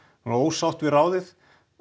ósátt við ráðið